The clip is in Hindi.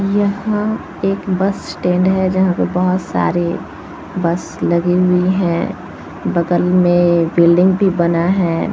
यह एक बस स्टैन्ड है जहाँ पर बहुत सारे बस लगे हुए हैं बगल में बिल्डिंग भी बना है।